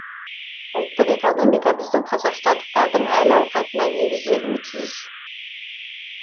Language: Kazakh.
ұлттық экономика біздің қазақстандықтардың әл ауқатына негізделуі тиіс